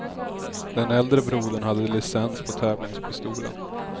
Den äldre brodern hade licens på tävlingspistolen.